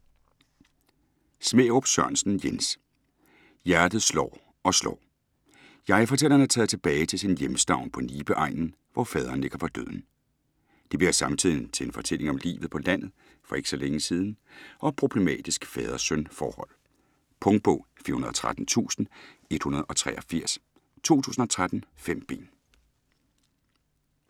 Smærup Sørensen, Jens: Hjertet slår og slår Jeg-fortælleren er taget tilbage til sin hjemstavn på Nibe-egnen, hvor faderen ligger for døden. Det bliver samtidig til en fortælling om livet på landet for ikke så længe siden og et problematisk fader-søn forhold. Punktbog 413183 2013. 5 bind.